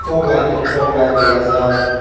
fog light tun fog light dega jaar.